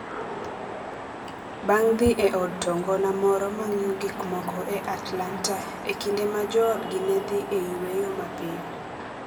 bang’ dhi e od to ngona moro ma ng’iyo gik moko e Atlanta e kinde ma joodgi ne dhi e yweyo mapiyo.